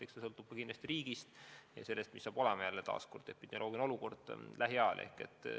Eks palju sõltub kindlasti konkreetsest riigist ja sellest, milline saab olema epidemioloogiline olukord lähiajal.